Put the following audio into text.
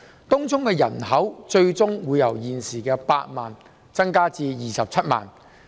東涌的人口最終會由現時8萬增至27萬。